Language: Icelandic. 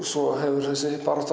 svo hefur þessi barátta